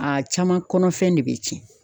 A caman kɔnɔfɛn de be tiɲɛ.